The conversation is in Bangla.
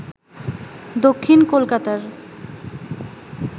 দক্ষিণ কলকাতার